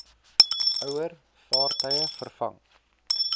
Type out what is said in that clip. ouer vaartuie vervang